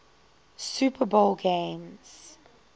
super bowl games